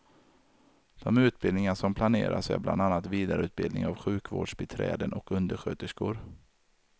De utbildningar som planeras är bland annat vidareutbildningar av sjukvårdsbiträden och undersköterskor.